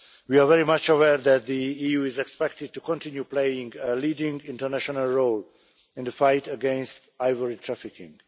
We are very much aware that the EU is expected to continue playing a leading international role in the fight against ivory trafficking.